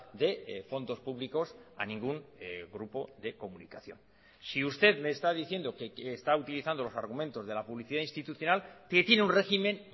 de fondos públicos a ningún grupo de comunicación si usted me esta diciendo que está utilizando los argumentos de la publicidad institucional que tiene un régimen